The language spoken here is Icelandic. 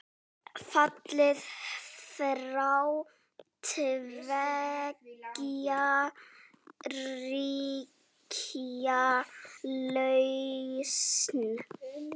Fallið frá tveggja ríkja lausn?